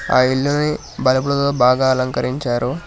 ఆ ఇల్లుని బుల్బలతో బాగా అలంకరించారు.